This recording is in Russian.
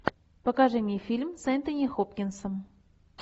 покажи мне фильм с энтони хопкинсом